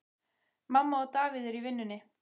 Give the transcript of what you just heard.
Mamma og Davíð eru í vinnunni.